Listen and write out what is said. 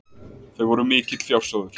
Þau voru mikill fjársjóður.